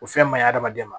O fɛn ma ɲi adamaden ma